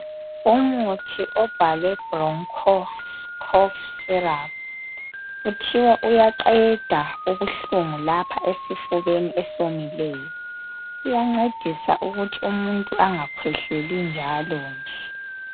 Umuthi obhalwe broncho cough syrup kuthiwa uyaqeda ubuhlungu lapha esifubeni esomileyo. Uyancedisa ukuthi umuntu angakhwehleli njalo nje.